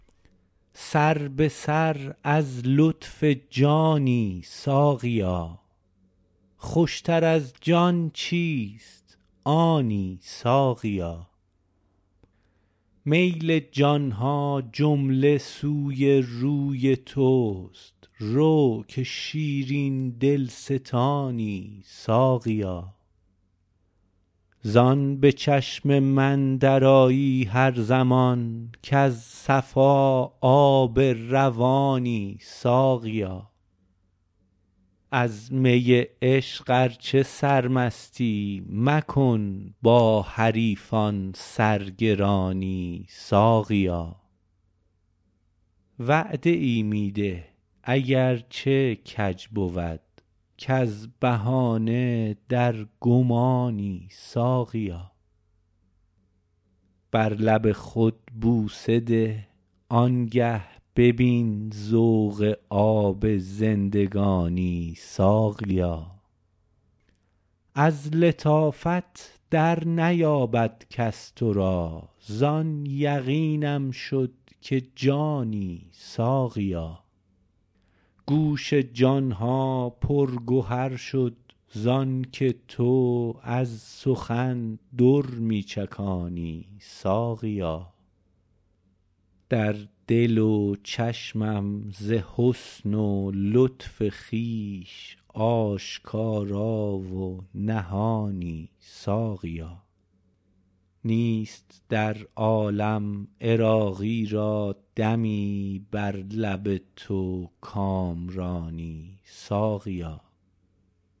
سر به سر از لطف جانی ساقیا خوشتر از جان چیست آنی ساقیا میل جان ها جمله سوی روی توست رو که شیرین دلستانی ساقیا زان به چشم من درآیی هر زمان کز صفا آب روانی ساقیا از می عشق ار چه سرمستی مکن با حریفان سرگرانی ساقیا وعده ای می ده اگر چه کج بود کز بهانه در گمانی ساقیا بر لب خود بوسه ده آنگه ببین ذوق آب زندگانی ساقیا از لطافت در نیابد کس تو را زان یقینم شد که جانی ساقیا گوش جان ها پر گهر شد زانکه تو از سخن در می چکانی ساقیا در دل و چشمم ز حسن و لطف خویش آشکارا و نهانی ساقیا نیست در عالم عراقی را دمی بر لب تو کامرانی ساقیا